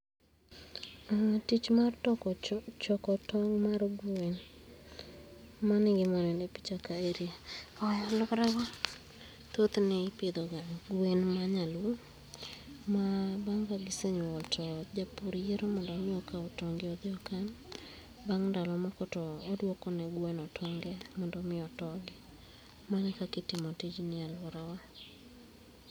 Tich mar choko tong' mar gweno mano e gima aneno e picha karei. Koro karango thothne ipidho ga gwen ma nyalo ma bang' ka gisenyuol to japur yiero mondo mi okao tong' gi odhi okan, bang' ndalo moko toduoko ne gweno tonge mondo mi otoki. Mano e kaka itimo tijni e aluora wa